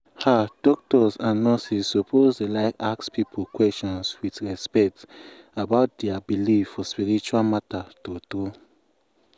ah doctors and nurses suppose dey like ask people question with respect about dia believe for spiritual matter true true.